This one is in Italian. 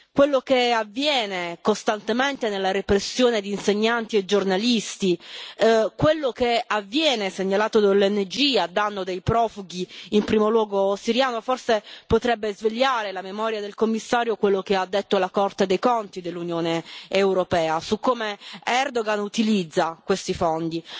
quello che avviene costantemente nella repressione di insegnanti e giornalisti, quello che avviene, segnalato dalle ONG, a danno dei profughi, in primo luogo siriani, forse potrebbe svegliare la memoria del Commissario quello che ha detto la Corte dei conti dell'Unione europea su come Erdoğan utilizza questi fondi.